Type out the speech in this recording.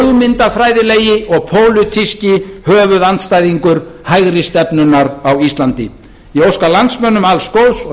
eini hugmyndafræðilegi og pólitíski höfuðandstæðingur hægri stefnunnar á íslandi ég óska landsmönnum alls góðs og